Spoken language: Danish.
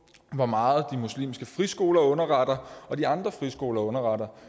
hvor meget de muslimske friskoler underretter og de andre friskoler underretter